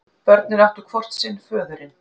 Börnin áttu hvort sinn föðurinn.